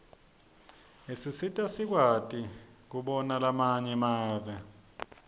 isisita sikwati kubona lamanye mave